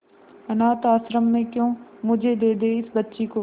अनाथ आश्रम में क्यों मुझे दे दे इस बच्ची को